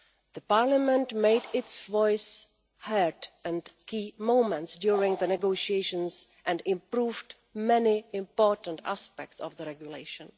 The Parliament made its voice heard in key moments during the negotiations and improved many important aspects of the regulation.